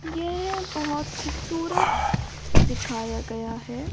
यह बहुत खूबसूरत दिखाया गया है ।